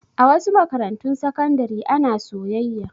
A wasu makarantun sakandare ana soyayya.